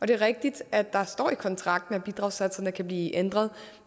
det er rigtigt at der står i kontrakten at bidragssatserne kan blive ændret